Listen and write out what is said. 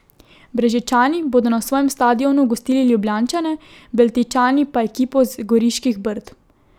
Brežičani bodo na svojem stadionu gostili Ljubljančane, Beltinčani pa ekipo z Goriških Brd.